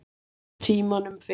Á tímanum fyrir